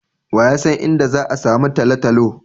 Wa ya san inda za'a samu Talatalo.